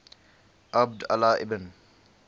abd allah ibn